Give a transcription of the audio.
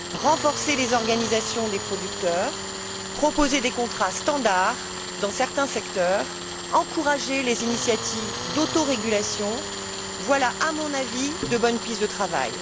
Renforcer les organisations des producteurs, proposer des contrats standard dans certains secteurs, encourager les initiatives d'autorégulation, voilà à mon avis de bonnes pistes de travail.